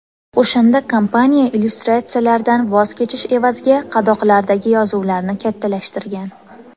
O‘shanda kompaniya illyustratsiyalardan voz kechish evaziga qadoqlardagi yozuvlarni kattalashtirgan.